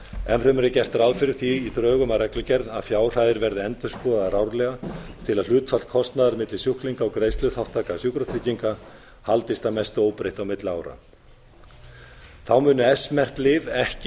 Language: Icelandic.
fremur er gert ráð fyrir því í drögum að reglugerð að fjárhæðir verði endurskoðaðar árlega til að hlutfall kostnaðar elli sjúklinga og greiðsluþátttaka sjúkratrygginga haldist að mestu óbreytt á milli ára á munu s merkt lyf ekki